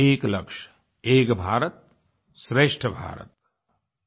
एक लक्ष्य एक भारत श्रेष्ठ भारत आई